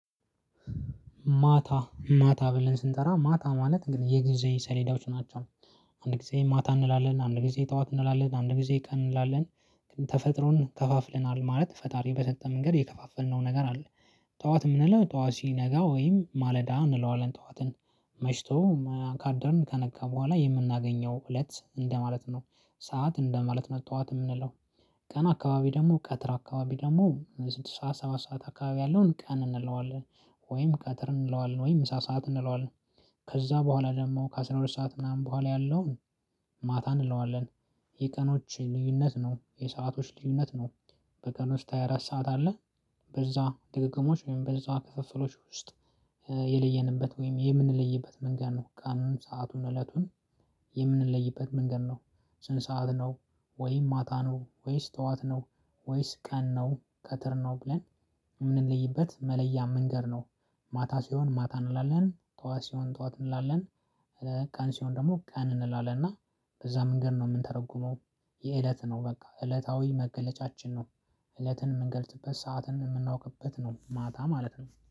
ማታ ማታ ብለን ስንጠራ ማታ ማለት እንግዲህ የጊዜ ሰሌዳዎች ናቸው። አንድ ጊዜ ማታ እንላለን አንድ ጊዜ ጠዋት እንላለን አንድ ጊዜ ቀን እንላለን ግን ተፈጥሮን ከፋፍለናል ማለት ፈጣሪ በጠጣም መንገድ የከፋፈልነው ነገር አለ። ጠዋት የምንለው ጠዋት ሲነጋ ወይም ማለዳ እንለዋለን ጠዋትን መሽቶ ካደርን ከነካ በኋላ የምናገኘው እለት እንደማለት ነው። ሰዓት እንደማለት መጥቷት የምንለው ቀን አካባቢ ደግሞ ቀትር አካባቢ ደግሞ ስድስት ሰዓት ሰባት ሰዓት አካባቢ ያለውን ቀን እንለዋለን። ወይም ቀትር እንለዋለን ወይም ምሳ ሰዓት እንለዋለን። ከዛ በኋላ ደግሞ ከአሥራ ሁለት ሰዓት ምናምን በኋላ ያለውን ማታ እንለዋለን። የቀኖች ልዩነት ነው የሰአቶች ልዩነት ነው። በቀን ውስጥ ሃያ አራት ሰዓት አለ። በዛ ድግግሞሽ ወይም በዛ ክፍፍሎች ውስጥ። የለየንበት ወይም የምንለይበት መንገድ ነው ቅኑን ሰአቱን እለቱን። የምንለይበት መንገድ ነው። ስንት ሰዓት ነው? ወይ ማታ ነው ወይስ ጠዋት ነው? ወይስ ቀን ነው ቀትር ነው ብለን የምንለይበት መለያ መንገድ ነው። ማታ ሲሆን ማታ እንላለን ጧት ሲሆን ጧት እንላለን። ቀን ሲሆን ደግሞ ቀን እንላለን እና በዛ መንገድ ነው የምንተረጉመው። የእለት ነው በቃ እለታዊ መገለጫችን ነው። እለትን የምንገልጥበት ሰዓትን የምናውቅበት ነው ማታ ማለት ነው።